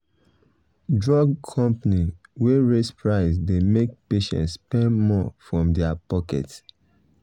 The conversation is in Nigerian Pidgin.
drug company wey raise price dey make patients spend more from their pocket.